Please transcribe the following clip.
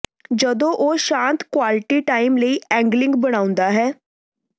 ਜਦੋਂ ਉਹ ਸ਼ਾਂਤ ਕੁਆਲਿਟੀ ਟਾਈਮ ਲਈ ਐਂਗਲਿੰਗ ਬਣਾਉਂਦਾ ਹੈ